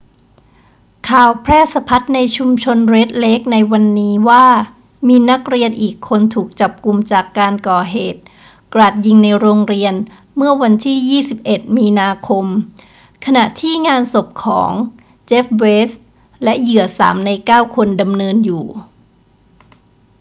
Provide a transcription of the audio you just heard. ข่าวแพร่สะพัดในชุมชนเรดเลคในวันนี้ว่ามีนักเรียนอีกคนถูกจับุมจากการก่อเหตุกราดยิงในโรงเรียนเมื่อวันที่ 21 มีนาคม ขณะที่งานศพของ jeff weise และเหยื่อ 3 ใน 9 คนดำเนินอยู่